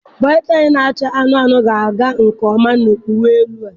Bootaị na-acha anụnụ anụnụ ga-aga nke ọma na uwe elu a.